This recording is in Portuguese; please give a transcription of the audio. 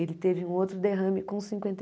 Ele teve um outro derrame com cinquenta e